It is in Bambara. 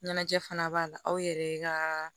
Ɲɛnajɛ fana b'a la aw yɛrɛ ka